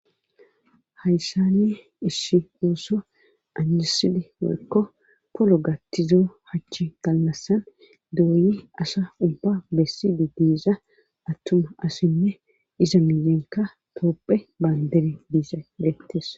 Hayssani issi hoosso anjiside wakko polo gattizo hachchi dallassan dooyi asa ubba bessidi diiza attuma asinne iza miyenka toopphe baandere diisadeettessa